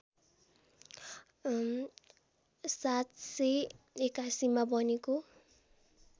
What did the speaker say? ७८१ मा बनेको